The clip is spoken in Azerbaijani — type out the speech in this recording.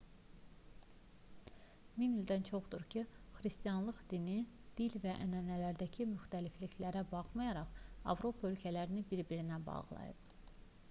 min ildən çoxdur ki xristianlıq dini dil və ənənələrindəki müxtəlifliklərə baxmayaraq avropa ölkələrini bir-birinə bağlayıb